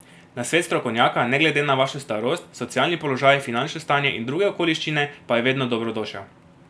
Nasvet strokovnjaka, ne glede na vašo starost, socialni položaj, finančno stanje in druge okoliščine pa je vedno dobrodošel.